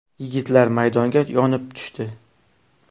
Yigitlar maydonga yonib tushdi.